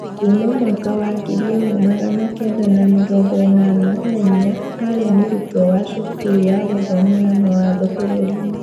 Kuuma mwaka was ngiri ĩmwe magana Kenda na mĩrongo ĩnana na inya arĩ mũrutwo wa cukuru ya gũthomera mawatho bũrũrinĩ